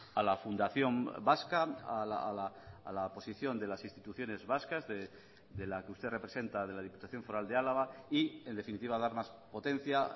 a la fundación vasca a la posición de las instituciones vascas de la que usted representa de la diputación foral de álava y en definitiva dar más potencia